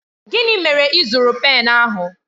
Gịnị mere ị zụrụ pen ahụ?